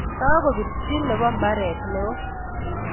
Kakopirchi nebo mbaret neo